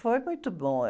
Foi muito bom. Eh...